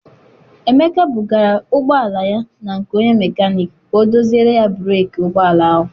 Emeka bugara ụgbọala ya na nke onye mecanic ka ọ doziere ya breeki ụgbọala ahụ.